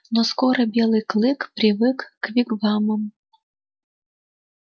но скоро белый клык привык к вигвамам